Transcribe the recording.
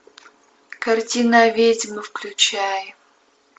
картина ведьма включай